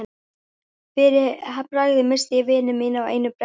Fyrir bragðið missti ég vini mína á einu bretti.